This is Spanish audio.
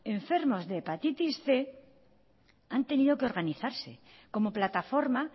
enfermos de hepatitis cien han tenido que organizarse como plataforma